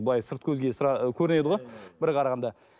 былай сырт көзге көрінеді ғой бір қарағанда